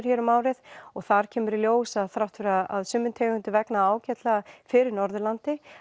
hér um árið og þar kemur í ljós að þrátt fyrir að sumum tegundum vegni ágætlega fyrir Norðurlandi